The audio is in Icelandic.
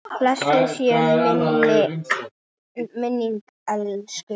Blessuð sé minning elsku Ínu.